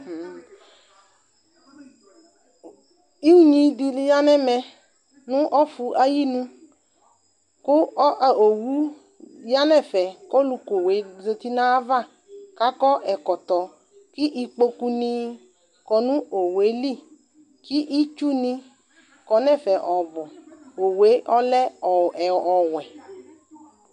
Ʋnyi dini yanʋ ɛmɛ nʋ ɔfʋ ayinʋ kʋ owʋ yanʋ ɛfɛ ɔlʋkʋ owue zati nʋ ayava kakɔ ɛkɔtɔ kʋ ikpokʋni kɔnʋ owʋeli kʋ itsʋni kɔ nʋ ɛfɛ ɔbʋ owʋelɛ ɔwɛ